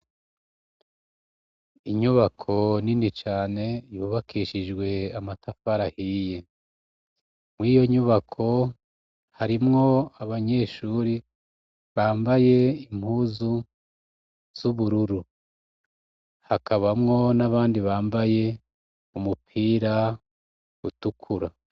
Inyubako nini cane yubakishijwe amatafarahiye mw'iyo nyubako harimwo abanyeshuri bambaye impuzu z'ubururu hakabamwo n'abandi bambaye umupira a utukura.